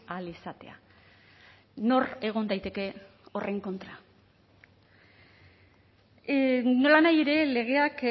ahal izatea nor egon daiteke horren kontra nolanahi ere legeak